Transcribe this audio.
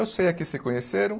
Eu sei é que se conheceram,